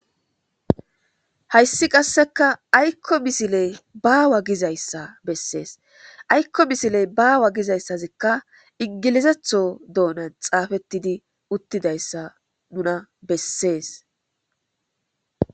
Hayssi qasseka aykko misiley baawa gizayssa bessees aykko misiley baawa gizayssazikka ingilizetho doonan xaafettidi uttidayssa nuna bessees.